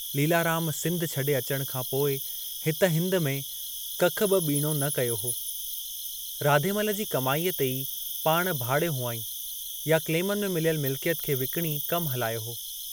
लीलाराम सिंधु छॾे अचण खां पोइ हित हिंद में कख बि ॿीणो न कयो हो, राधेमल जी कमाईअ ते ई पाणु भाड़ियो हुआंईं या क्लेमनि में मिलियल मिलिकियत खे विकणी कमु हलायो हो।